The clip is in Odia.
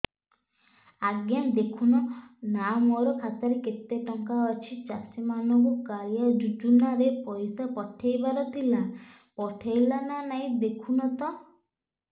ଆଜ୍ଞା ଦେଖୁନ ନା ମୋର ଖାତାରେ କେତେ ଟଙ୍କା ଅଛି ଚାଷୀ ମାନଙ୍କୁ କାଳିଆ ଯୁଜୁନା ରେ ପଇସା ପଠେଇବାର ଥିଲା ପଠେଇଲା ନା ନାଇଁ ଦେଖୁନ ତ